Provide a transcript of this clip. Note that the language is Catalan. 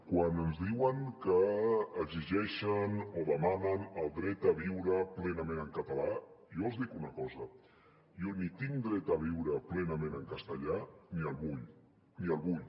quan ens diuen que exi·geixen o demanen el dret a viure plenament en català jo els dic una cosa jo ni tinc dret a viure plenament en castellà ni el vull ni el vull